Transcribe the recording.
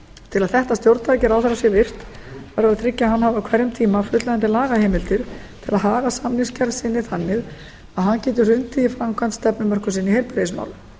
til að þetta stjórntæki ráðherra sé virkt verður að tryggja að hann hafi á hverjum tíma fullnægjandi lagaheimildir til að haga samningsgerð sinni þannig að hann geti hrundið í framkvæmd stefnumörkun sinni í heilbrigðismálum